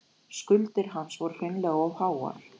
Skuldir hans voru hreinlega of háar.